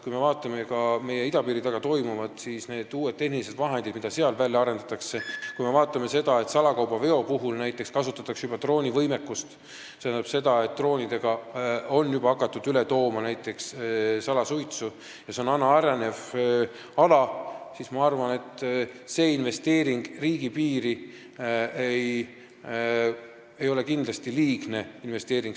Kui me vaatame ka idapiiri taga toimuvat, neid uusi tehnilisi vahendeid, mida seal välja arendatakse, või seda, et salakaubaveo puhul näiteks kasutatakse juba droonivõimekust – droonidega on juba hakatud üle tooma näiteks salasuitsu ja see on aina arenev ala –, siis ma arvan, et investeering riigipiiri ei ole kindlasti liigne investeering.